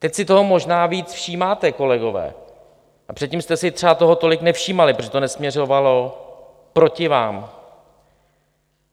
Teď si toho možná víc všímáte, kolegové, a předtím jste si třeba toho tolik nevšímali, protože to nesměřovalo proti vám.